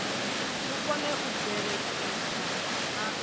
vhu kone u bveledzisa na